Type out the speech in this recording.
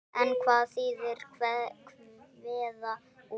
En hvað þýðir kveða úr?